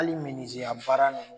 Ali menizeya baara ninnu